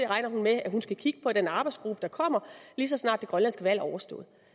regner med at hun skal kigge på den arbejdsgruppe der kommer lige så snart det grønlandske valg er overstået